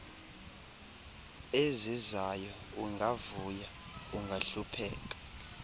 ezizayo ungavuya ungahlupheka